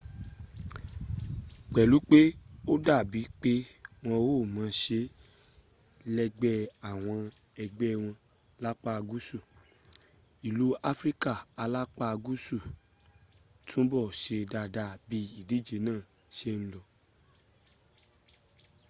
pẹ̀lú pé ó dàbí pé wọn ò mọ̀ọ́ṣé lẹ́gbẹ́ àwọn ẹgbẹ́ wọn lápá guusu ilu afrika alapa guusu túbọ̀ n ṣe dada bí ídíje náà ṣe n lọ